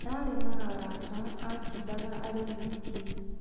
Ndaarĩ na arata, atindaga arĩ wiki